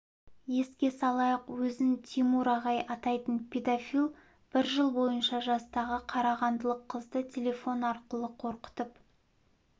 еске салайық өзін тимур ағай атайтын педофил бір жыл бойынша жастағы қарағандылық қызды телефон арқылы қорқытып